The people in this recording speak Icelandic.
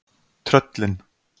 tröllin